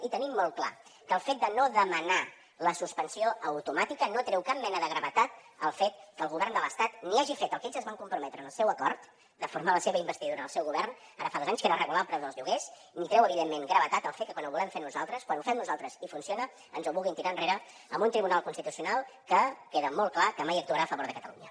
i tenim molt clar que el fet de no demanar la suspensió automàtica no treu cap mena de gravetat al fet que el govern de l’estat ni hagi fet el que ells es van comprometre en el seu acord de formar la seva investidura en el seu govern ara fa dos anys que era regular el preu dels lloguers ni treu evidentment gravetat al fet que quan ho volem fer nosaltres quan ho fem nosaltres i funciona ens ho vulguin tirar enrere amb un tribunal constitucional que queda molt clar que mai actuarà a favor de catalunya